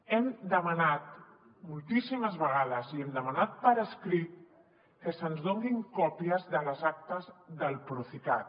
hem demanat moltíssimes vegades i ho hem demanat per escrit que se’ns donin còpies de les actes del procicat